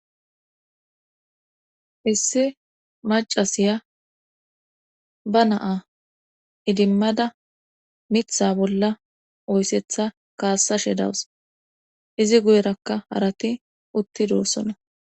Issi macasiya ba naa idimmada mitha bolla oyissetha kaassashe dawus. Izi guyerakka harati uttidoossona.